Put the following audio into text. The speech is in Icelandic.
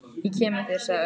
Ég kem með þér sagði Örn.